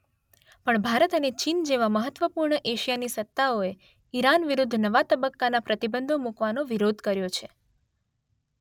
પણ ભારત અને ચીન જેવા મહત્વપૂર્ણ એશિયાની સત્તાઓએ ઇરાન વિરૂદ્ધ નવા તબક્કાના પ્રતિબંધો મૂકવાનો વિરોધ કર્યો છે.